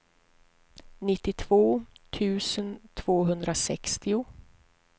nittiotvå tusen tvåhundrasextio